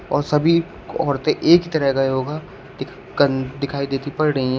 और सभी औरतें एक ही तरह का योगा दिखाई देती पड़ रही है।